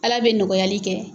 Ala bɛ nɔgɔyali kɛ.